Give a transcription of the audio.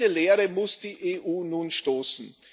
In diese Leere muss die EU nun stoßen.